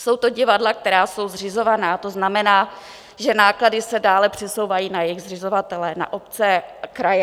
Jsou to divadla, která jsou zřizovaná, to znamená, že náklady se dále přesouvají na jejich zřizovatele, na obce, kraje.